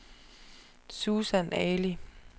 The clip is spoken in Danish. Susan Ali